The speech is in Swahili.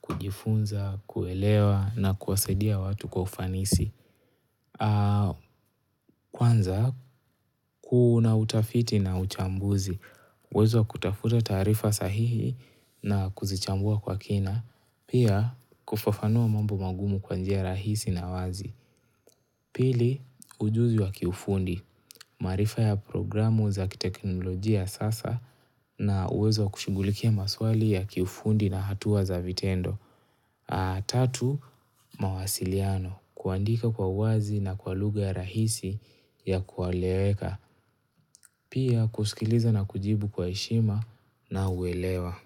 kujifunza, kuelewa na kuwasadia watu kwa ufanisi. Kwanza, kuna utafiti na uchambuzi. Uwezo wa kutafuta taarifa sahihi na kuzichambua kwa kina. Pia, kufafanua mambo magumu kwa njia rahisi na wazi. Pili, ujuzi wa kiufundi. Maarifa ya programu za kiteknolojia sasa na uwezo wa kushughulikia maswali ya kiufundi na hatua za vitendo. Tatu, mawasiliano. Kuandika kwa uwazi na kwa lugha ya rahisi ya kueleweka. Pia, kusikiliza na kujibu kwa heshima na uelewa.